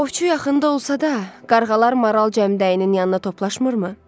Ovçu yaxında olsa da, qarğalar maral cəmdəyinin yanına toplaşmırmı?